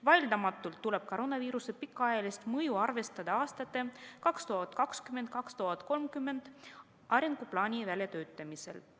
Vaieldamatult tuleb koroonaviiruse pikaajalist mõju arvestada aastate 2020–2030 arenguplaani väljatöötamisel.